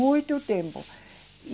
Muito tempo.